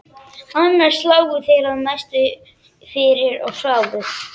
Annars lágu þeir að mestu fyrir og sváfu.